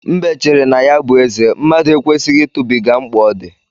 Mbe chere na ya bụ eze; mmadụ ekwesịghị ịtụbiga mkpa ọ dị.